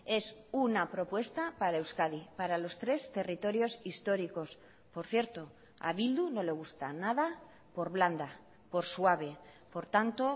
es una propuesta para euskadi para los tres territorios históricos por cierto a bildu no le gusta nada por blanda por suave por tanto